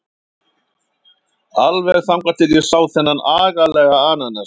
Alveg þangað til ég sá þennan agalega ananas.